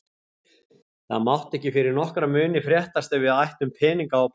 Það mátti ekki fyrir nokkra muni fréttast að við ættum peninga á bók.